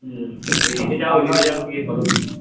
ওই দিকে যাও ইয়ে করো